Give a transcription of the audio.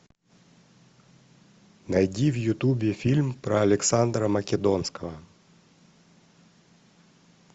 найди в ютубе фильм про александра македонского